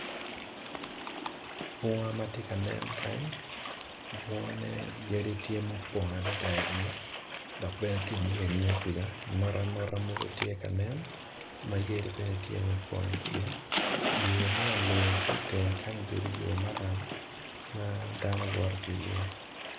Bunga matye ka nen kany bunga ne yadine tye ma opong adada dok bene ki inyime kuca notanota mogo tye kanen mayadi bene tye ma opong i ye yo mo olingo ki itenge kenyo obedo yo maram madano woto ki iye.